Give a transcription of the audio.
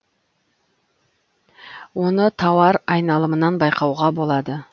оны тауар айналымынан байқауға болады